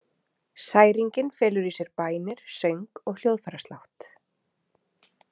Særingin felur í sér bænir, söng og hljóðfæraslátt.